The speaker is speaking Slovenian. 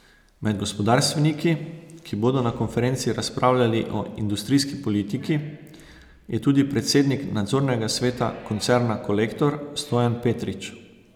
Med gospodarstveniki, ki bodo na konferenci razpravljali o industrijski politiki, je tudi predsednik nadzornega sveta koncerna Kolektor Stojan Petrič.